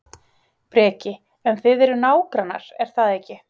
Breki: En þið eruð nágrannar, er það ekki?